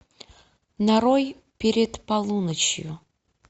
нарой перед полуночью